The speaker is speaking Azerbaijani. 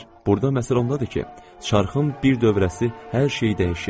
Burda məsələ ondadır ki, çarxın bir dövrəsi hər şeyi dəyişir.